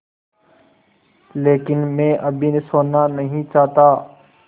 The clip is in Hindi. लेकिन मैं अभी सोना नहीं चाहता